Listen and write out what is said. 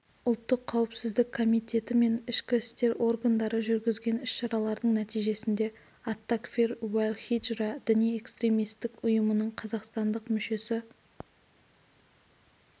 ұлттық қауіпсіздік комитеті мен ішкі істер органдары жүргізген іс-шаралардың нәтижесінде ат-такфир уәл-хиджра діни-экстремистік ұйымының қазақстандық мүшесі